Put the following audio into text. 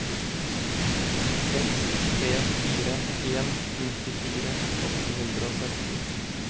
seks tre fire en nittifire åtte hundre og sytten